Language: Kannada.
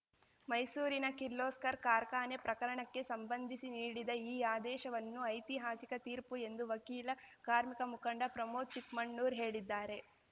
ಮೈಸೂರಿನ ಕಿರ್ಲೋಸ್ಕರ್‌ ಕಾರ್ಖಾನೆ ಪ್ರಕರಣಕ್ಕೆ ಸಂಬಂಧಿಸಿ ನೀಡಿದ ಈ ಆದೇಶವನ್ನು ಐತಿಹಾಸಿಕ ತೀರ್ಪು ಎಂದು ವಕೀಲ ಕಾರ್ಮಿಕ ಮುಖಂಡ ಪ್ರಮೋದ್‌ ಚಿಕ್ಮಣ್ಣೂರ್‌ ಹೇಳಿದ್ದಾರೆ